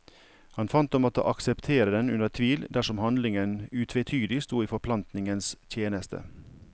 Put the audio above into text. Han fant å måtte akseptere den under tvil dersom handlingen utvetydig sto i forplantningens tjeneste.